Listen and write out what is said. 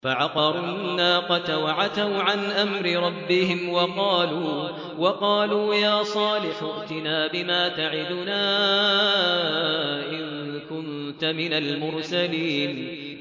فَعَقَرُوا النَّاقَةَ وَعَتَوْا عَنْ أَمْرِ رَبِّهِمْ وَقَالُوا يَا صَالِحُ ائْتِنَا بِمَا تَعِدُنَا إِن كُنتَ مِنَ الْمُرْسَلِينَ